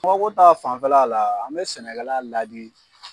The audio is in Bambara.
Nɔgɔ ko ta fanfɛla la, an bi sɛnɛkɛla laadi